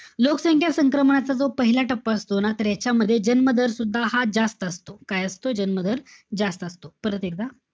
लोकसंख्या संक्रमणाचा जो पहिला टप्पा असतो ना, तर यांच्यामध्ये जन्म दर सुद्धा हा जास्त असतो. काय असतो? जन्म दर जास्त असतो. परत एकदा,